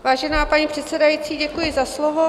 Vážená paní předsedající, děkuji za slovo.